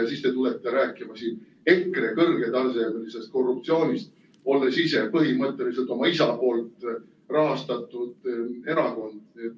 Ja siis te tulete rääkima siin EKRE kõrgetasemelisest korruptsioonist, olles ise põhimõtteliselt teie isa rahastatud erakond.